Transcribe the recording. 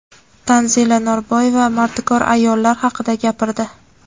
Tanzila Norboyeva mardikor ayollar haqida gapirdi.